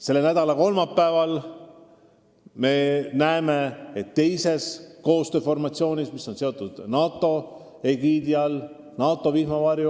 Selle nädala kolmapäeval me näeme NATO egiidi all Eestis esimest korda õhuturvet teostamas itaallasi.